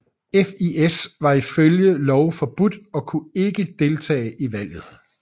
FIS var ifølge lov forbudt og kunne ikke deltage i valget